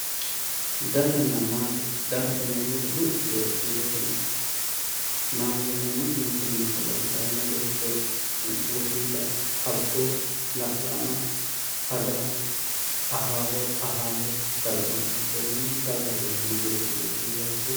daganna maate dagate yineemmoti luphi yitinote kiirotenni maatete yineemmoti mittu mininni calla fyultanno annanna beetto wosiila abbo la'lama ada ahaaho ahaahe ikkara dandaanno konneno dagate yineemmo kiirotenni luphi yiiha ikkiro.